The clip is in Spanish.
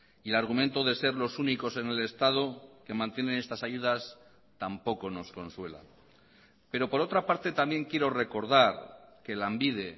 y el argumento de ser los únicos en el estado que mantienen estas ayudas tampoco nos consuela pero por otra parte también quiero recordar que lanbide